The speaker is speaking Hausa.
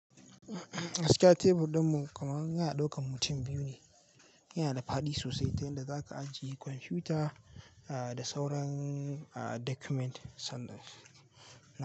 Gaskiya tebur ɗinmu koman yana ɗaukan mutum biyu ne. Yana da fadi sosai, ta yanda za ka ajiye kwamfuta da sauran document na.